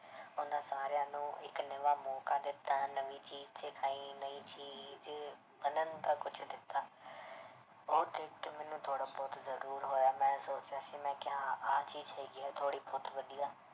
ਉਹਨਾਂ ਸਾਰਿਆਂ ਨੂੰ ਇੱਕ ਨਵਾਂ ਮੌਕਾ ਦਿੱਤਾ ਨਵੀਂ ਨਵੀਂ ਚੀਜ਼ ਬਣਨ ਦਾ ਕੁਛ ਦਿੱਤਾ ਉਹ ਦੇਖ ਕੇ ਮੈਨੂੰ ਥੋੜ੍ਹਾ ਬਹੁਤ ਜ਼ਰੂਰ ਹੋਇਆ ਮੈਂ ਸੋਚ ਰਿਹਾ ਸੀ ਮੈਂ ਕਿਹਾ ਹਾਂ ਆਹ ਚੀਜ਼ ਹੈਗੀ ਹੈ ਥੋੜ੍ਹੀ ਬਹੁਤ ਵਧੀਆ।